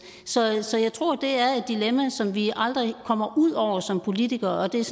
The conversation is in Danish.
så jeg så jeg tror det er et dilemma som vi aldrig kommer ud over som politikere og det er